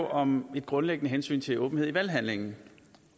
om et grundlæggende hensyn til åbenhed i valghandlingen